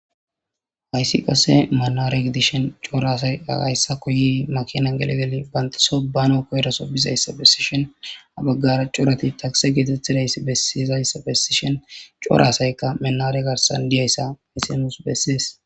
Hayssi qasse manara gidishin coora asayi hayisako yi makinan geli geli bantaso banawu koyidosa besishin ha bagara corati takise getetizayis besidayisa besishin cora asayika manara garsan diyayisa besses